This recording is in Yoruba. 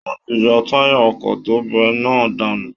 Wọ́n ti yọ táyà ọkọ̀ tó bẹ́ náà dànù